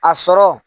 A sɔrɔ